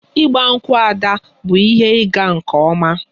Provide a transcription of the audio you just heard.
Igba nkwu' Ada bụ ihe ịga nke ọma